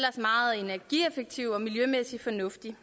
meget energieffektiv og miljømæssig fornuftig